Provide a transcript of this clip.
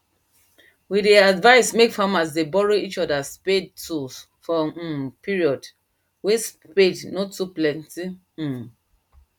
we dey advice make farmers dey borrow each other spade tools for um period wen spade nor too plenty um